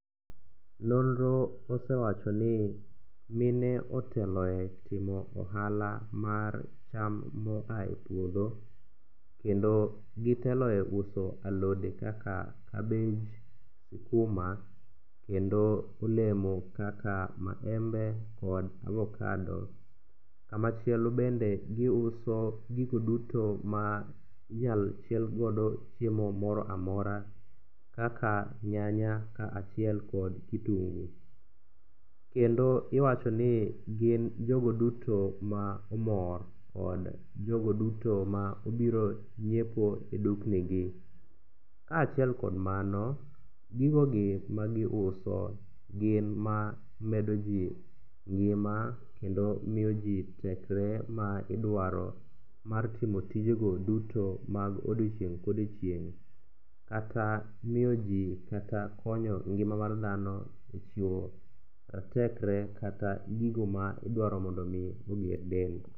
Nonro osewacho ni mine otelo e timo ohala mar cham moa e puodho, kendo gitelo e uso alode kaka kabej, sukuma kendo olemo kaka maembe kod avokado. Kamachielo bende giuso gigo duto ma inyal chielgodo chiemo moro amora kaka nyanya ka achiel kod kitungu. Kendo iwacho ni gin jogo duto ma omor kod jogo duto ma obiro nyiepo e duknigi. Kaachiel kod mano, gigogi magiuso gin mamedo ji ngima kendo miyo ji tekre ma idwaro mar timo tijego duto mag odiochieng' kodiochieng' kata miyo ji kata konyo ngima mar dhano e chiwo rotekre kata gigo ma idwaero mondo omi oger del.